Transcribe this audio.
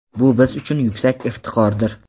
Bu biz uchun yuksak iftixordir.